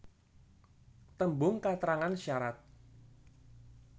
Tembung katrangan syarat